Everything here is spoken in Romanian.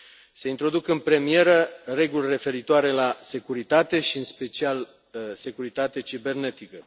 Se introduc în premieră reguli referitoare la securitate și, în special, la securitatea cibernetică.